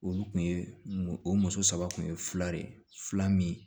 Olu kun ye o muso saba kun ye fila de ye fila min ye